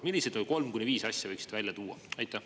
Millised kolm kuni viis asja võiksite välja tuua?